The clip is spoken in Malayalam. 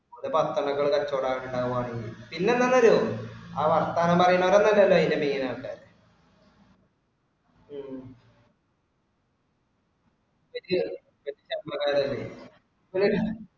ഒരു പത്തെണ്ണം ഒക്കെ തന്നെ കച്ചോടം ഉണ്ടാവു ഉണ്ടാവുകയാണെങ്കിൽ, പിന്നെന്താന്നറിയുവോ ആ വർത്താനം പറയുന്നവരൊന്നും അല്ലല്ലോ ഇതിന്റെ main ആൾക്കാര്. ഹും ഇജ്ജ് നമ്മ